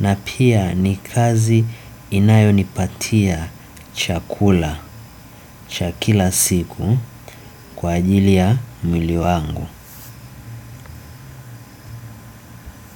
na pia ni kazi inayo nipatia chakula cha kila siku kwa ajili ya mwili wangu.